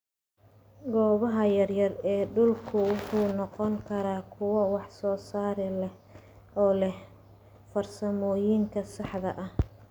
Goobaha yaryar ee dhulku waxay noqon karaan kuwo wax soo saar leh oo leh farsamooyinka saxda ah.